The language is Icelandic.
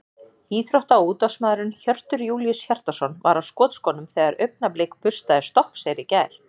Íþrótta- og útvarpsmaðurinn Hjörtur Júlíus Hjartarson var á skotskónum þegar Augnablik burstaði Stokkseyri í gær.